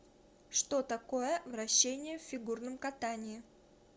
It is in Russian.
что такое вращения в фигурном катании